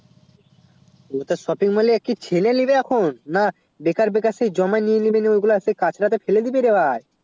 অতটা shopping mall এ আর কি ছেলে নিবে এখন না বেকার বেকার সেই জমা নিয়ে নিলে সে গুলু কাঁচরা তে ফেলে দিবে রে ভাই